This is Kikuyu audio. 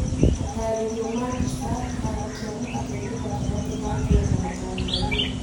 matarĩrio ma mbica: Kĩhaaro kĩa mũhaka-inĩ gatagatĩ ka Kenya na Tanzania.